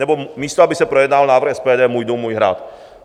Nebo místo aby se projednal návrh SPD můj dům, můj hrad.